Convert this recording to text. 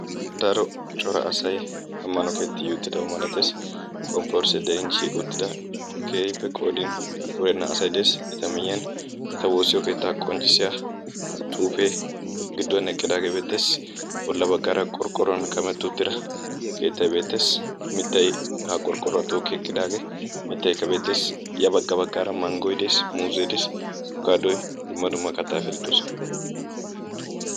Daro cora asay ammano ketti yi uttidaba malattees. komporosee kiyin shiiqi uttida keehipe qoodin wurenna asay de'es. eta miyiyaan eta woossiyoo keettaa qonccisiyaa xuufee gidduwaan eqqidagee beettees. bolla bagaara qorqqoruwan kametti uttida keettay beettees. mittay ha qorqqoruwaa tookki eqqidaagee mittaykka beettees. ya bagga baggara manggoy dees. muuzzee des apikaadoy dumma dumma kattaa ayfeti doosona.